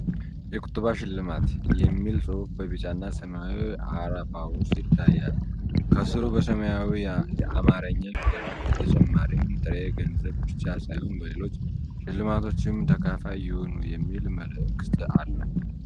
"የቁጠባ ሽልማት" የሚል ጽሑፍ በቢጫና ሰማያዊ አረፋ ውስጥ ይታያል። ከስሩ በሰማያዊ አማርኛ ፊደላት “በተጨማሪም ጥሬ ገንዘብ ብቻ ሳይሆን በሌሎች ሽልማቶችም ተካፋይ ይሁኑ” የሚል መልዕክት አለ።